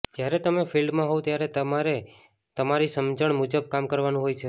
જ્યારે તમે ફિલ્ડમાં હોવ ત્યારે તમારે તમારી સમજણ મુજબ કામ કરવાનું હોય છે